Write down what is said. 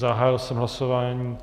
Zahájil jsem hlasování.